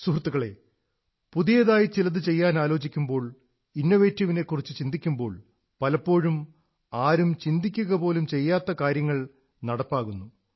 സുഹൃത്തുക്കളേ പുതിയതായി ചിലതു ചെയ്യാനാലോചിക്കുമ്പോൾ ഇന്നൊവേറ്റീവിനെക്കുറിച്ചു ചിന്തിക്കുമ്പോൾ പലപ്പോഴും ആരും ചിന്തിക്കുകപോലും ചെയ്യാത്ത കാര്യങ്ങൾ നടപ്പാകുന്നു